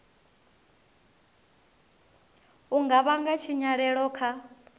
u nga vhanga tshinyalelo kha